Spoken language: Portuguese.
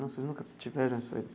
Vocês nunca tiveram essa.